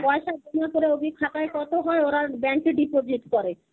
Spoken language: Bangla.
পয়সা জমা করে ওদের খাতায় কতো হয় ওরা bank এ deposit করে.